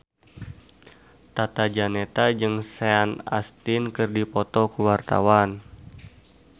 Tata Janeta jeung Sean Astin keur dipoto ku wartawan